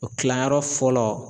O kilayɔrɔ fɔlɔ